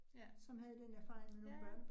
Ja, ja ja